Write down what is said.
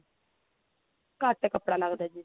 ਘੱਟ ਕੱਪੜਾ ਲੱਗਦਾ ਜੀ